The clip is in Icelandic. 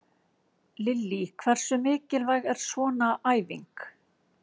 Lillý: Hversu mikilvæg er svona æfing?